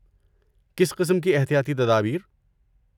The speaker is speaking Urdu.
کس قسم کی احتیاطی تدابیر؟